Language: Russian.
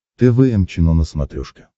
тэ вэ эм чено на смотрешке